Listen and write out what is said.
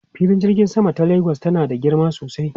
Filin jirgin sama ta Lagos tana da girma sosai.